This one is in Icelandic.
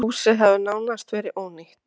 Húsið hafi nánast verið ónýtt.